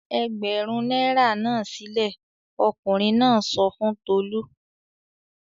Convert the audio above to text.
"Ẹgbẹ̀rún náírà náà sílẹ̀!" Ọkùnrin náà sọ fún Tolú.